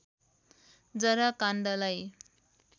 जरा काण्डलाई